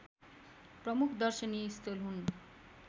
प्रमुख दर्शनीय स्थल हुन्